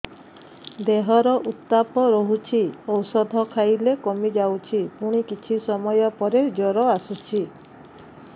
ଦେହର ଉତ୍ତାପ ରହୁଛି ଔଷଧ ଖାଇଲେ କମିଯାଉଛି ପୁଣି କିଛି ସମୟ ପରେ ଜ୍ୱର ଆସୁଛି